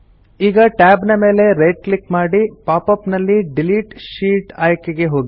ಈಗ ಟ್ಯಾಬ್ ಮೇಲೆ right click ಮಾಡಿ ಪಾಪ್ ಅಪ್ ನಲ್ಲಿ ಡಿಲೀಟ್ ಶೀಟ್ ಆಯ್ಕೆಗೆ ಹೋಗಿ